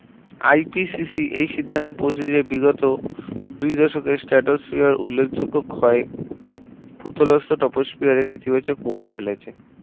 IPCC এই সিদ্ধান্তটা পৌঁছেছে যে বিগত দুই দশকের Stratosphere উল্লেখ যোগ্য ক্ষয়ে পুতলস্ত Troposphere নেতিবাচক প্রভাব ফেলেছে